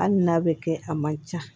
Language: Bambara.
Hali n'a bɛ kɛ a man ca